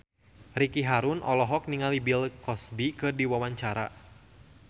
Ricky Harun olohok ningali Bill Cosby keur diwawancara